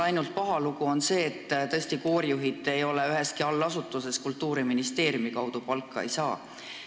Ainult paha lugu on see, et tõesti koorijuhid ei ole üheski Kultuuriministeeriumi allasutuses ja sedakaudu palka ei saa.